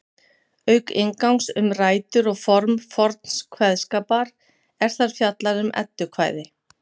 auk inngangs um rætur og form forns kveðskapar er þar fjallað um eddukvæði